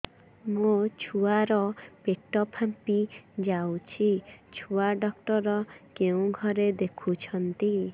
ମୋ ଛୁଆ ର ପେଟ ଫାମ୍ପି ଯାଉଛି ଛୁଆ ଡକ୍ଟର କେଉଁ ଘରେ ଦେଖୁ ଛନ୍ତି